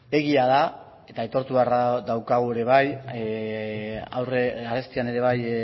egia da eta aitortu beharra daukagu ere bai aurre arestian ere bai